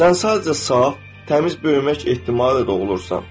Sən sadəcə sağ, təmiz böyümək ehtimalı da doğulursan.